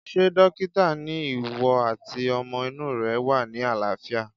Ṣé dókítà ni ìwọ àti ọmọ inú rẹ wà ní àlàáfíà